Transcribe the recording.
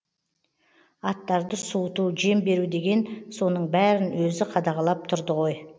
аттарды суыту жем беру деген соның бәірін өзі қадағалап тұрды ғой